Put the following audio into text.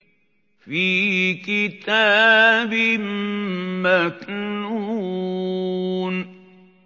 فِي كِتَابٍ مَّكْنُونٍ